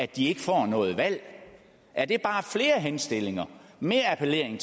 de ikke får noget valg er det bare flere henstillinger mere appel